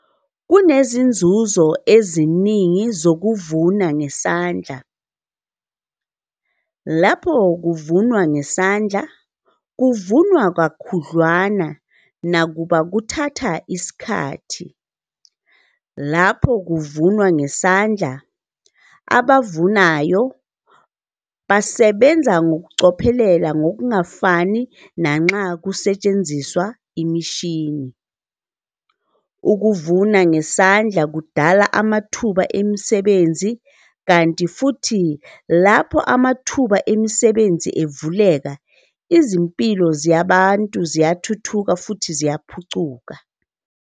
Kunezinzuzo eziningi zokuvuna ngesandla. Lapho kuvunwa ngesandla kuvunwa kakhudlwana nakuba kuthatha isikhathi. Lapho kuvunwa ngesandla, abavunayo basebenza ngokucophelela ngokungafani nanxa kusetshenziswa imishini. Ukuvuna ngesandla kudala amathuba emisebenzi, kanti futhi lapho amathuba emisebenzi evuleka izimpilo zabantu ziyathuthuka futhi ziyaphucuka.